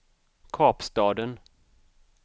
Kapstaden